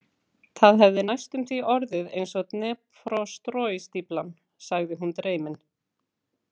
Það hefði næstum því orðið eins og Dneprostroi- stíflan, sagði hún dreymin.